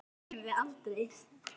Þér gleymum við aldrei.